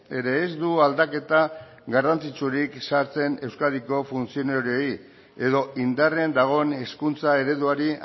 ere ez du aldaketa garrantzitsurik sartzen euskadiko funtzionarioei edo indarrean dagoen hezkuntza ereduari